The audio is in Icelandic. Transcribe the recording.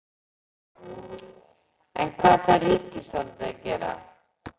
En hvað þarf ríkisvaldið að gera?